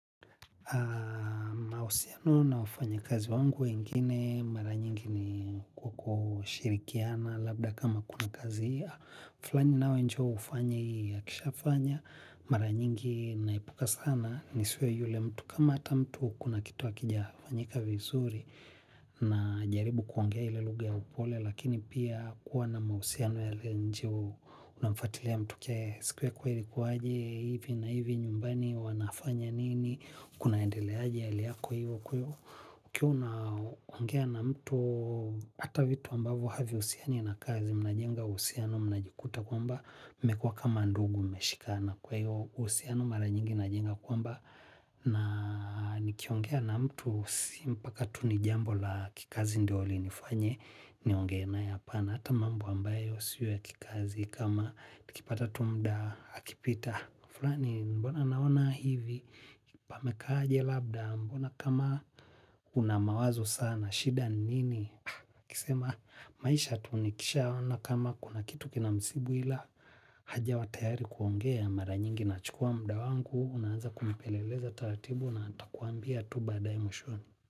Mahusiano na wafanya kazi wangu wengine mara nyingi ni kwa kushirikiana labda kama kuna kazi ya. "Fulani nawe njoo ufanye hii," akisha fanya, mara nyingi naepuka sana nisiwe yule mtu kama hata mtu kuna kitu hakijafanyika vizuri na jaribu kuongea ile lugha ya upole. Lakini pia kuwa na mahusiano yaliyo nje hu unamfatilia mtu kia. Siku yako ilikuwaje? Hivi na hivi nyumbani, wanafanya nini? Kunaendeleaje hali yako hivyo kwivo, ukiwa unaongea na mtu. Hata vitu ambavo haviusiani na kazi mnajenga uhusiano mnajikuta kwamba mmekua kama ndugu mmeshikana. Kwa hivyo uhusiano maranyingi injenga kwamba na nikiongea na mtu, si mpaka tu nijambo la kikazi ndio li nifanye ni ongee apana. Hata mambo ambayo siyo kikazi kama tukipata tu mda akipita fulani mbona naona hivi pamekaaje labda? Mbona kama unamawazo sana. Shida ni nini? Akisema maisha tu nikisha ona kama kuna kitu kina msibuila. Hajawa tayari kuongea, mara nyingi nachukua muda wangu. Unaanza kumpeleleza taratibu na ntakuambia tu baadaye mwishoni.